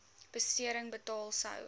besering betaal sou